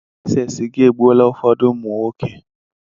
Ị se sịga e gbuola ụfọdụ ụmụ nwoke.